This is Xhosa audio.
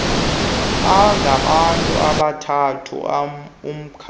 angabantu abathathu umakhi